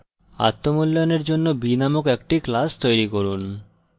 আত্ম মূল্যায়নের জন্য b named একটি class তৈরী করুন